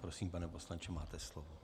Prosím, pane poslanče, máte slovo.